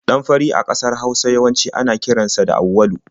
Ɗan fari a ƙasar Hausa yawanci ana kiran sa da Auwalu.